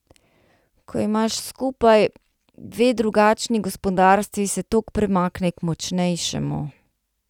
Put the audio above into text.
Ko imaš skupaj dve drugačni gospodarstvi se tok premakne k močnejšemu.